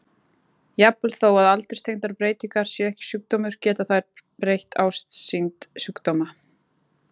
Jafnvel þó að aldurstengdar breytingar séu ekki sjúkdómur geta þær breytt ásýnd sjúkdóma.